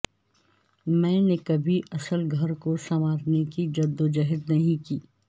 میں نے کبھی اصل گھر کو سنوارنے کی جدوجہد نہیں کی